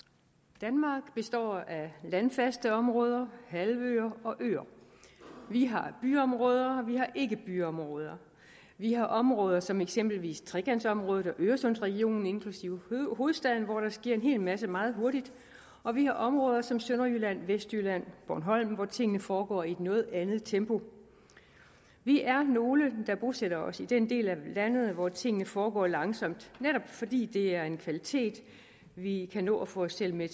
danmark består af landfaste områder halvøer og øer vi har byområder og vi har ikkebyområder vi har områder som eksempelvis trekantområdet og øresundsregionen inklusive hovedstaden hvor der sker en hel masse meget hurtigt og vi har områder som sønderjylland vestjylland og bornholm hvor tingene foregår i et noget andet tempo vi er nogle der bosætter os i den del af landet hvor tingene foregår langsomt netop fordi det er en kvalitet og vi kan nå at få os selv med